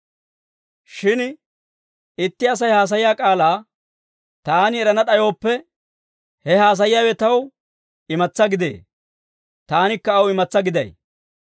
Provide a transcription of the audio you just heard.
Shin itti Asay haasayiyaa k'aalaa taani erana d'ayooppe, he haasayiyaawe taw imatsaa gidee; taanikka aw imatsaa giday.